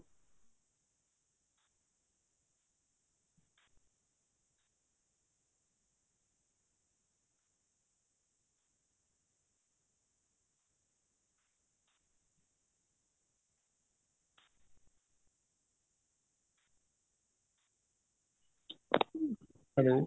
hello